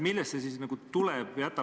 Millest see nagu tuleb?